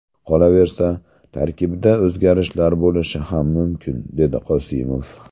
Qolaversa, tarkibda o‘zgarishlar bo‘lishi ham mumkin”, dedi Qosimov.